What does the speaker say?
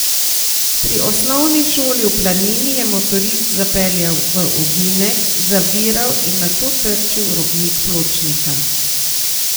Pri osnovni šoli v Planini je motorist zapeljal v ovinek, zaviral in nato trčil v robnik pločnika.